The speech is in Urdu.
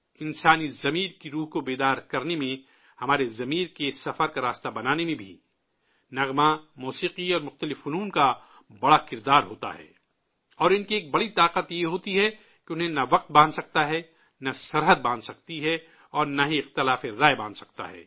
انسانی ذہن کی گہرائی کو فروغ دینے میں، ہمارے ذہن کی گہرائی کی راہ ہموار کرنے میں بھی، گیت موسیقی اور مختلف فنون کا بڑا رول ہوتا ہے، اور ان کی ایک بڑی طاقت یہ ہوتی ہے کہ انہیں نہ وقت باندھ سکتا ہے، نہ سرحد باندھ سکتی ہے اور نہ ہی اختلاف رائے باندھ سکتا ہے